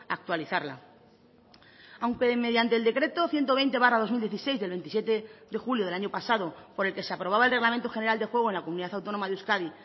actualizarla aunque mediante el decreto ciento veinte barra dos mil dieciséis del veintisiete de julio del año pasado por el que se aprobaba el reglamento general de juego en la comunidad autónoma de euskadi